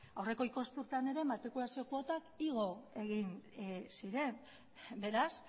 aurreko ikasturtean ere matrikulazio kuotak igo egin ziren beraz